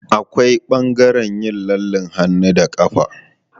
Akwai ɓangaren yin lallen hannu da ƙafa.